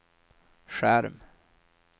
skärm